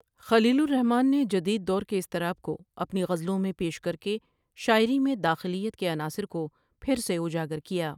خلیل الرحمن نے جدید دور کے اضطراب کو اپنی غزلوں میں پیش کرکے شاعری میں داخلیت کے عناصر کو پھر سے اجاگر کیا ۔